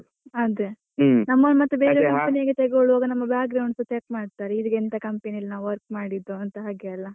ಅದೇ, ನಮ್ಮನ್ನ ಮತ್ತೆ ಬೇರೆ company ಗೆ ತೆಗೊಳ್ಳುವಾಗ ಮತ್ತೆ ನಮ್ಮ ಸಾ check ಮಾಡ್ತಾರೆ ಎಂತ company ಲಿ ನಾವು work ಮಾಡಿದ್ದು ಅಂತ ಹಾಗೆ ಅಲ್ಲ.